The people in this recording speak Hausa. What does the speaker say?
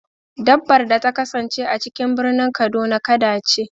Dabbar da ta kasance a cikin birnin kaduna, kada ce.